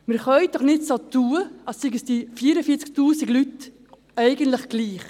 Wir können doch nicht so tun, als seien uns diese 44 000 Leute eigentlich egal.